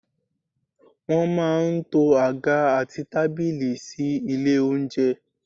Wọ́n má a n to àga àti tábìlì sílé oúnjẹ